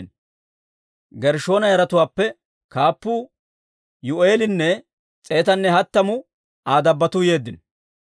Gershshoona yaratuwaappe kaappuu Yuu'eelinne s'eetanne hattamu Aa dabbotuu yeeddino.